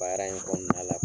Baara in kɔnɔna la